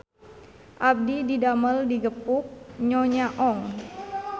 Abdi didamel di Gepuk Nyonya Ong